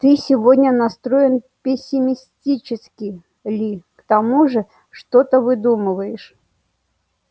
ты сегодня настроен пессимистически ли к тому же что-то выдумываешь